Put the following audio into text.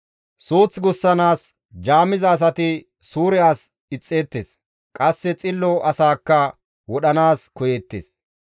Suuth gussanaas jaamiza asati suure as ixxeettes; qasse xillo asaakka wodhanaas koyeettes.